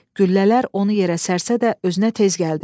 Güllələr onu yerə sərsə də özünə tez gəldi.